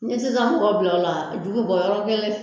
N 'i ye sisan mɔgɔw bila ola a ju be bɔ yɔrɔni kelen